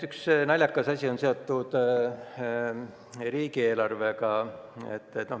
Üks naljakas asi on seotud riigieelarvega.